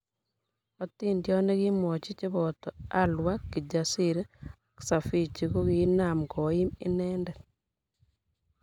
otindiot nekimwochi chiboto Alua, Kijasiri ak Sifichi ko kiinaam koiim inendet